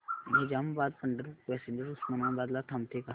Nizamabad Pandharpur passenger Osmanabad ला थांबते का